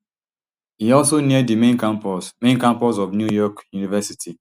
e also near di main campus main campus of new york university